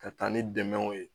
Ka taa ni dɛmɛw ye